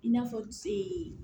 I n'a fɔ